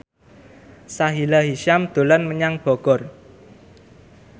Sahila Hisyam dolan menyang Bogor